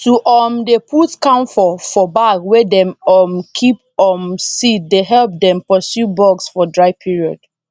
to um dey put camphor for bag wey dem um keep um seed dey help dem pursue bugs for dry period